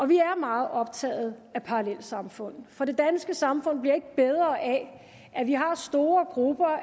vi er meget optaget af parallelsamfund for det danske samfund bliver ikke bedre af at vi har store grupper